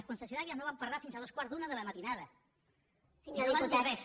les concessionàries no van parlar fins a dos quarts d’una de la matinada no van dir res